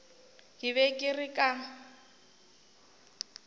ke be ke re ka